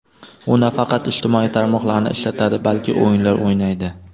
U nafaqat ijtimoiy tarmoqlarni ishlatadi, balki o‘yinlar o‘ynaydi.